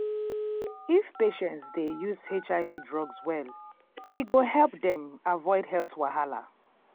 if patients dey use their hiv drugs well e go help dem avoid health wahala.